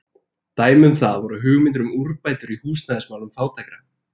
Dæmi um það voru hugmyndir um úrbætur í húsnæðismálum fátækra.